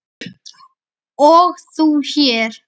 og þú hér?